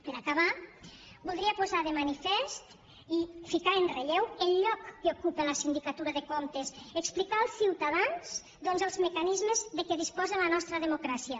per acabar voldria posar de manifest i ficar en relleu el lloc que ocupa la sindicatura de comptes explicar als ciutadans els mecanismes de què disposa la nostra democràcia